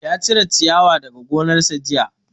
Ya cire ciyawa daga gonar sa jiya